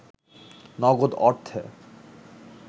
নগদ অর্থে